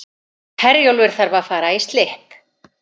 Herjólfur þarf að fara í slipp